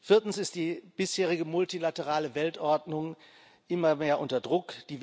Viertens ist die bisherige multilaterale Weltordnung immer mehr unter Druck.